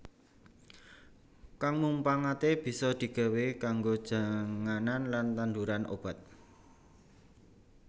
Kang mumpangaté bisa di gawé kanggo janganan lan tandhuran obat